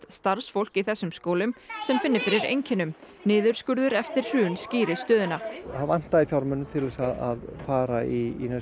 starfsfólk í þessum skólum sem finni fyrir einkennum niðurskurður eftir hrun skýri stöðuna það vantaði fjármagn til að fara í